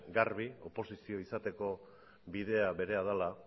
garbia oposizio izateko bidea berea dela